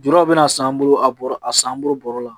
Juru bɛna san an bolo a bɔrɔ a san bolo bɔrɔ la